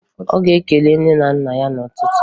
Ọ ga-ekele nne na nna ya n'ụtụtụ